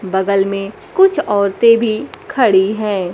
बगल में कुछ औरतें भी खड़ी है।